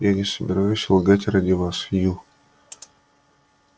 я не собираюсь лгать ради вас ю